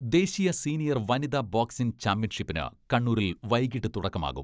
ദേശീയ സീനിയർ വനിതാ ബോക്സിംഗ് ചാമ്പ്യൻഷിപ്പിന് കണ്ണൂരിൽ വൈകീട്ട് തുടക്കമാകും.